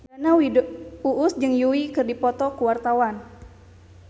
Uus jeung Yui keur dipoto ku wartawan